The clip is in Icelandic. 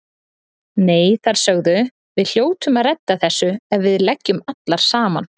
Nei, þær sögðu: Við hljótum að redda þessu ef við leggjum allar saman